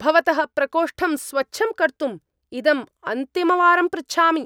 भवतः प्रकोष्ठं स्वच्छं कर्तुम् इदम् अन्तिमवारं पृच्छामि।